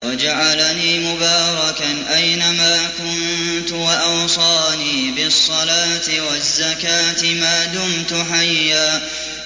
وَجَعَلَنِي مُبَارَكًا أَيْنَ مَا كُنتُ وَأَوْصَانِي بِالصَّلَاةِ وَالزَّكَاةِ مَا دُمْتُ حَيًّا